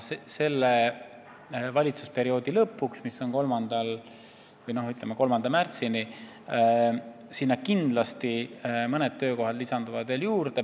Selle valitsusperioodi lõpuks, ütleme, 3. märtsini, lisandub kindlasti mõni veel.